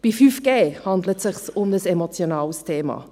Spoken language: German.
Bei 5G handelt es sich um ein emotionales Thema.